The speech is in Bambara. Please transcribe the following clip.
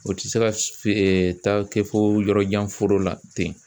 O tɛ se ka taa kɛ fo yɔrɔ jan foro la ten.